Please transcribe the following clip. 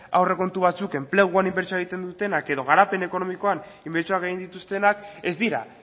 aurrekontu batzuk enpleguan inbertsioak egiten dutenak edo garapen ekonomikoan inbertsioan gain dituztenak ez dira